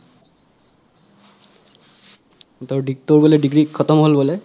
degree খতম হ'ল বোলে